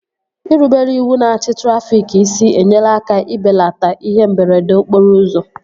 Irubere iwu na achị trafịk isi enyela aka ibelata ihe mberede okporo ụzọ